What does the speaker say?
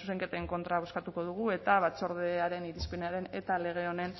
zuzenketen kontra bozkatuko dugu eta batzordearen irizpenaren eta lege honen